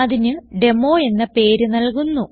അതിന് ഡെമോ എന്ന പേര് നൽകുന്നു